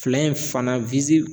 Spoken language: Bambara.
Fila in fana